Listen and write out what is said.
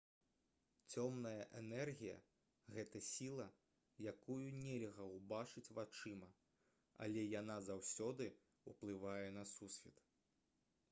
цёмная энергія гэта сіла якую нельга ўбачыць вачыма але яна заўсёды ўплывае на сусвет